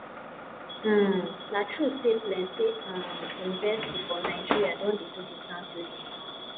um na true sey plenty um university for naija don dey do distance learning